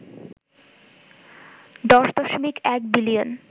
১০.১ billion